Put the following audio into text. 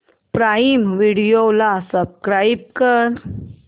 prime video ला subscribe कर